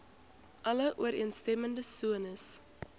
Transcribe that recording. alle ooreenstemmende sones